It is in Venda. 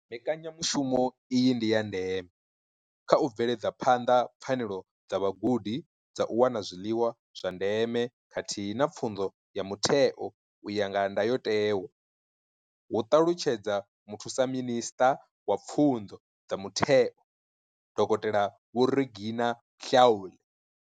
Mbekanya mushumo iyi ndi ya ndeme kha u bveledza phanḓa pfanelo dza vhagudi dza u wana zwiḽiwa zwa ndeme khathihi na pfunzo ya mutheo u ya nga ndayotewa, hu ṱalutshedza Muthusa minisṱa wa Pfunzo dza Mutheo, Dokotela Vho Reginah Mhaule.